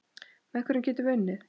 Með hverjum getum við unnið?